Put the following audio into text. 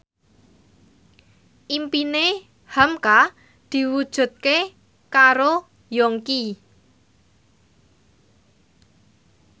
impine hamka diwujudke karo Yongki